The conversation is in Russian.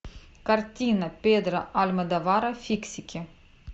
картина педро альмодовара фиксики